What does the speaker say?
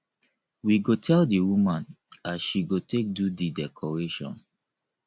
we go tell di woman as she go take do di decoration